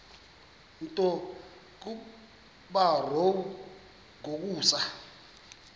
nto kubarrow yokusa